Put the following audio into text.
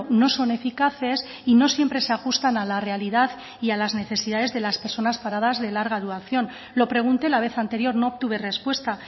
no son eficaces y no siempre se ajustan a la realidad y a las necesidades de las personas paradas de larga duración lo pregunté la vez anterior no obtuve respuesta